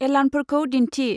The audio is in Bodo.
एलार्मफोरखौ दिन्थि।